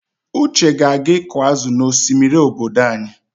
Uche ga-aga ịkụ azụ n'osimiri obodo anyị.